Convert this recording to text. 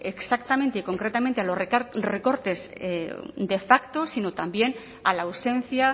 exactamente concretamente a los recortes de facto sino también a la ausencia